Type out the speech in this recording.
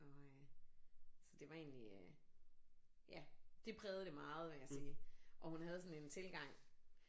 Og øh så det var egentlig øh ja. Det prægede det meget vil jeg sige og hun havde sådan en tilgang